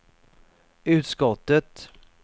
utskottet